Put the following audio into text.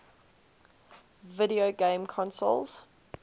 video game consoles